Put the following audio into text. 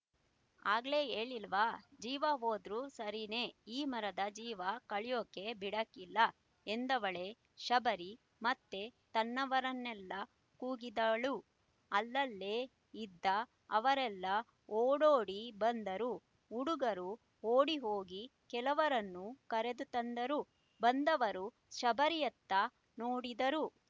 ಆಗ್ಲೇ ಯೇಳ್ಳಿಲ್ವ ಜೀವ ವೋದ್ರು ಸರೀನೆ ಈ ಮರದ ಜೀವ ಕಲಿಯೋಕೆ ಬಿಡಾಕಿಲ್ಲ ಎಂದವಳೆ ಶಬರಿ ಮತ್ತೆ ತನ್ನವರನ್ನೆಲ್ಲ ಕೂಗಿದಳು ಅಲ್ಲಲ್ಲೇ ಇದ್ದ ಅವರೆಲ್ಲ ಓಡೋಡಿ ಬಂದರು ಹುಡುಗರು ಓಡಿಹೋಗಿ ಕೆಲವರನ್ನು ಕರೆದುತಂದರು ಬಂದವರು ಶಬರಿಯತ್ತ ನೋಡಿದರು